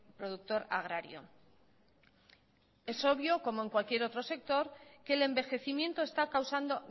productor agrario es obvio como en cualquier otros sector que el envejecimiento está causando